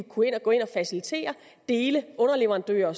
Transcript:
kunne gå ind og facilitere dele underleverandører